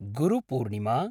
Guru Purnima